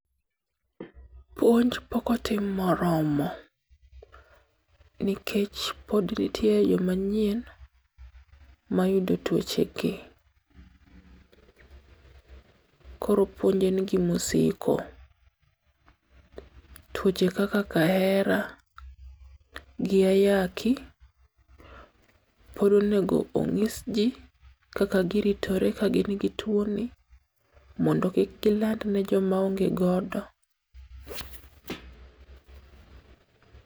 Puonj pokotim moromo, nikech pod ntie joma nyien mayudo twochegi. Koro puonj en gimosiko. Twoche kaka kahera gi ayaki pod onego ong'is jii kaka giritore ka gin gi two ni mondo kik giland ne jomaonge godo.